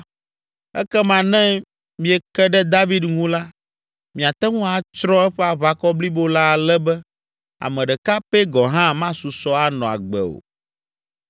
Ekema ne mieke ɖe David ŋu la, miate ŋu atsrɔ̃ eƒe aʋakɔ blibo la ale be ame ɖeka pɛ gɔ̃ hã masusɔ anɔ agbe o.